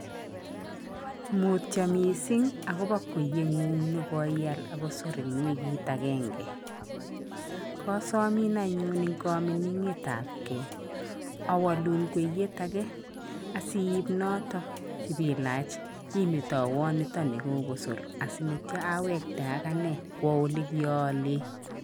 Mutyo mising akobo kwenyeng'ung nekoial akosor eng wikit agenge, kasomin anyuun eng kamining'etab ge awalun kweyet ake asiip noto ipilach asimetoiwan nitoni kokosor asinityo awekte akine kwo ole kialen.